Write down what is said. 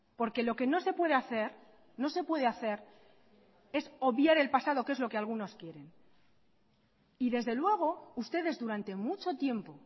porque lo que no se puede hacer no se puede hacer es obviar el pasado que es lo que algunos quieren y desde luego ustedes durante mucho tiempo